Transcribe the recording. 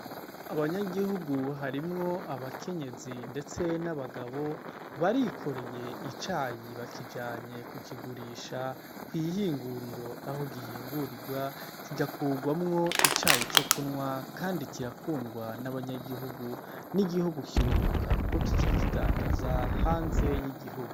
Abanyagihugu harimwo abakenyezi ndetse n'abagabo barikorey' icayi bakijanye kukigurisha kw'ihinguriro aho gihingurirwa kigakugwamwo icayi cokunwa kandi kirakundwa n'abanyagihugu n'iguhugu kirunguka kuko kica kidandaza hanze y'igihugu.